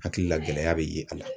Hakili la gɛlɛya bɛ ye a la